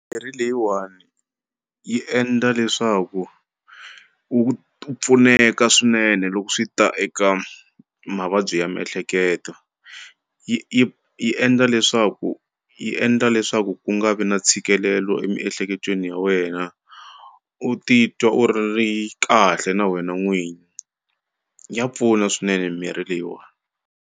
leyiwani yi endla leswaku u pfuneka swinene loko swi ta eka mavabyi ya miehleketo yi yi yi endla leswaku yi endla leswaku ku nga vi na ntshikelelo emiehleketweni ya wena u ti twa u ri kahle na wena n'wini ya pfuna swinene mirhi leyiwani.